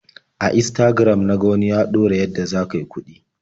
A Instagram na ga wani ya ɗora yadda za ka yi kuɗi.